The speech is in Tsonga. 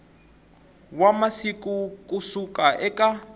wa masiku ku suka eka